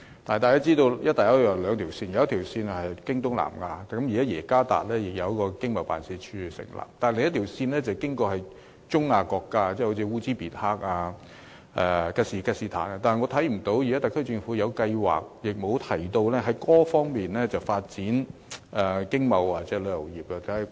大家都知道"一帶一路"有兩條線，一條線是經東南亞，現在政府已在雅加達設立經貿辦，而另一條線是經過中亞國家，好像烏茲別克、吉爾吉斯坦等，但我看不到特區政府有計劃在這些國家發展經貿或旅遊業。